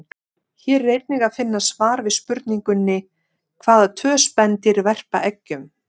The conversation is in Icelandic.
Hér er einnig að finna svar við spurningunni: Hvaða tvö spendýr verpa eggjum?